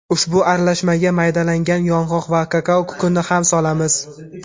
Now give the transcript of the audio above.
Ushbu aralashmaga maydalangan yong‘oq va kakao kukunini ham solamiz.